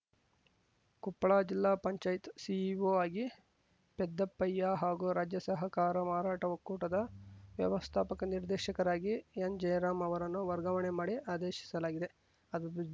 ಕೊಪ್ಪಳ ಜಿಲ್ಲಾ ಪಂಚಾಯತ್‌ ಸಿಇಒ ಆಗಿ ಪೆದ್ದಪ್ಪಯ್ಯ ಹಾಗೂ ರಾಜ್ಯ ಸಹಕಾರ ಮಾರಾಟ ಒಕ್ಕೂಟದ ವ್ಯವಸ್ಥಾಪಕ ನಿರ್ದೇಶಕರಾಗಿ ಎನ್‌ ಜಯರಾಂ ಅವರನ್ನು ವರ್ಗಾವಣೆ ಮಾಡಿ ಆದೇಶಿಸಲಾಗಿದೆ ಅದ್